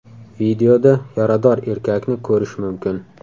Videoda yarador erkakni ko‘rish mumkin.